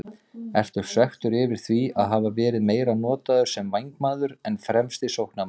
Ertu svekktur yfir því að hafa verið meira notaður sem vængmaður en fremsti sóknarmaður?